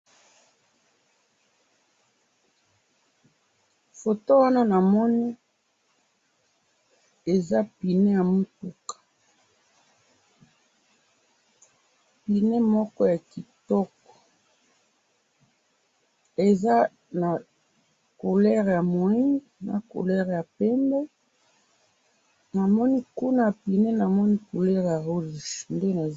Foto wana namoni eza pineux ya mutuka pineux moko ya kitoko eza na couleur ya mwindu na couleur ya pembe namoni kuna na pineux na couleur ya rouge nde namoni.